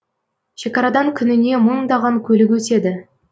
шекарадан күніне мыңдаған көлік өтеді